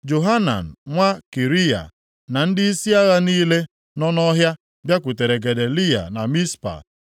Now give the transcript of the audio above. Johanan nwa Kariya, na ndịisi agha niile nọ nʼọhịa bịakwutere Gedaliya na Mizpa